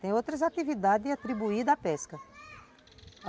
Tem outras atividades atribuídas à pesca.